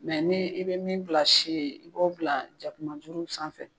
Mɛ n'i i bɛ min bila si ye, i b'o bila jakumajuru sanfɛ.